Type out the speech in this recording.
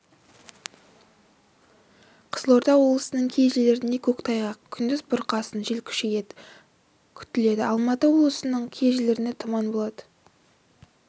қызылорда облысының кей жерлерінде көктайғақ күндіз бұрқасын жел күшейеді күтіледі алматы облысының кей жерлерінде тұман болады